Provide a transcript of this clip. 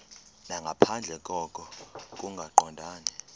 nangaphandle koko kungaqondani